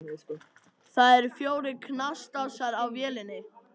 Þá eru fjórir knastásar á vélinni.